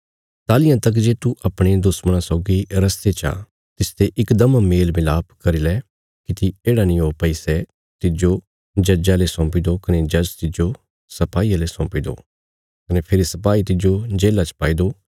ताहलियां तक जे तू अपणे दुश्मणा सौगी रस्ते चा तिसने इकदम मेलमलाप करी लै किति येढ़ा नीं ओ भई सै तिज्जो जज्जा ले सौंपी दो कने जज तिज्जो सपाईये ले सौंपी दो कने फेरी सपाई तिज्जो जेल्ला च पाई दो